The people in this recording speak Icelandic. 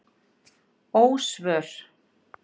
Ósvör